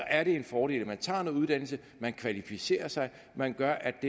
er en fordel at man tager noget uddannelse man kvalificerer sig man gør